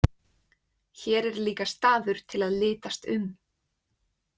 Hér er líka staður til að litast um.